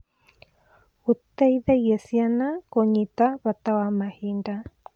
Gũteithagia ciana kũnyita bata wa mahinda.